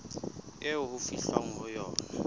eo ho fihlwang ho yona